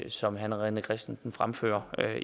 som herre rené christensen fremfører